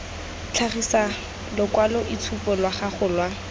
tlhagisa lokwaloitshupu lwa gago lwa